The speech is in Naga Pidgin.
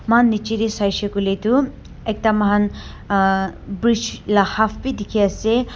Mokhan nechidae saishe koile tuh ekta mokhan uhh bridge la half bhi dekhe ase.